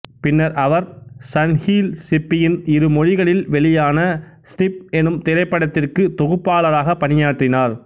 பின்னர் அவர் சன்ஹில் சிப்பியின் இருமொழிகளில் வெளியான ஸ்னிப் எனும் திரைபப்டத்திற்கு தொகுப்பாளராக பணியாற்றினார்